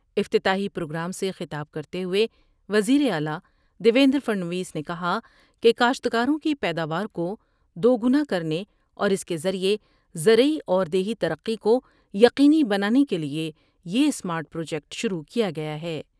افتتاحی پروگرام سے خطاب کرتے ہوئے وزیر اعلی دیویندر پھڑنویس نے کہا کہ کاشتکاروں کی پیداواکو دوگنا کرنے اور اس کے ذریعے زرعی اور دیہی ترقی کو یقینی بنانے کیلئے یہ اسمارٹ پروجیکٹ شروع کیا گیا ہے ۔